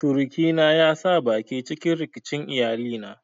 Surukina ya sa baki cikin rikicin iyalina.